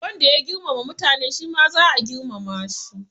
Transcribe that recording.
Wanda ya girmama mutane shi ma za a girmama shi